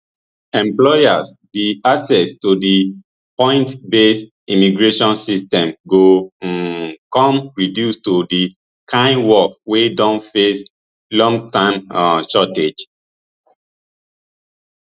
employers di access to di points based immigration system go um come reduce to di kain work wey don face long term um shortages